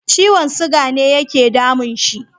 Ciwon siga ne yake damun shi.